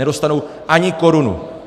Nedostanou ani korunu.